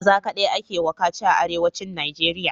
Maza kadai ake wa kaci a arewacin nigeria